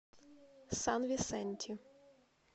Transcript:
сан висенти